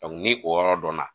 ni o yɔrɔ dɔnna